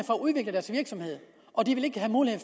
udvikle deres virksomhed og de vil ikke have mulighed